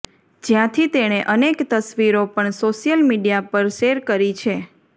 જ્યાંથી તેણે અનેક તસવીરો પણ સોશિયલ મીડિયા પર શૅર કરી છે